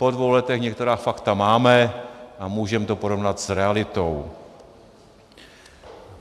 Po dvou letech některá fakta máme a můžeme to porovnat s realitou.